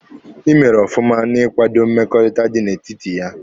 Ị mere ọfụma n'ikwado mmekọrịta dị n'etiti ya.